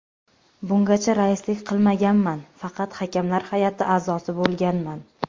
Bungacha raislik qilmaganman, faqat hakamlar hay’ati a’zosi bo‘lganman.